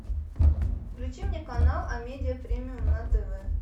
включи мне канал амедиа премиум на тв